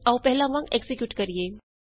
ਆਉ ਪਹਿਲਾਂ ਵਾਂਗ ਐਕਜ਼ੀਕਿਯੂਟ ਕਰੀਏ